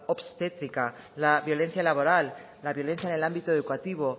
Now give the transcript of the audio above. obstétrica la violencia laboral la violencia en el ámbito educativo